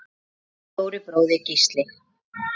Þinn stóri bróðir, Gísli.